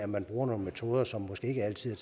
man nogle metoder som måske ikke altid